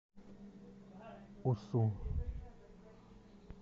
усу